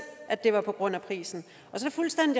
at det var på grund af prisen så